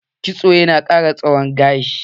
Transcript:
Kitson ya na ƙara tsawon gashi.